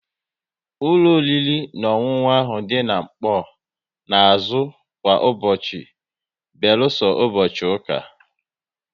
Ụlọ oriri na ọṅụṅụ ahụ dị n'Nkpor na azụ kwa ụbọchị beluso ụbọchị ụka